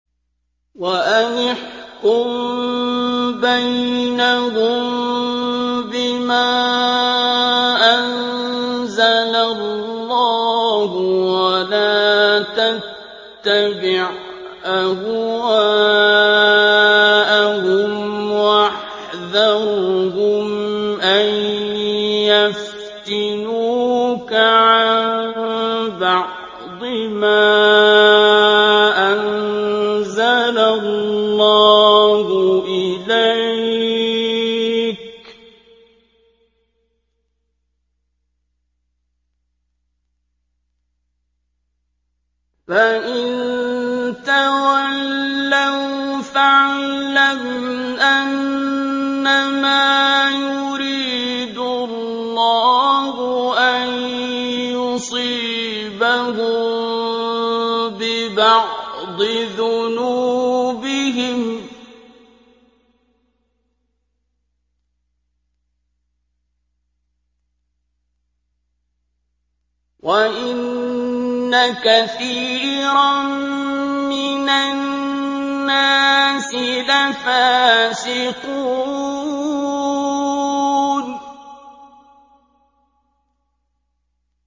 وَأَنِ احْكُم بَيْنَهُم بِمَا أَنزَلَ اللَّهُ وَلَا تَتَّبِعْ أَهْوَاءَهُمْ وَاحْذَرْهُمْ أَن يَفْتِنُوكَ عَن بَعْضِ مَا أَنزَلَ اللَّهُ إِلَيْكَ ۖ فَإِن تَوَلَّوْا فَاعْلَمْ أَنَّمَا يُرِيدُ اللَّهُ أَن يُصِيبَهُم بِبَعْضِ ذُنُوبِهِمْ ۗ وَإِنَّ كَثِيرًا مِّنَ النَّاسِ لَفَاسِقُونَ